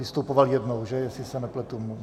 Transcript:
Vystupoval jednou, že, jestli se nepletu?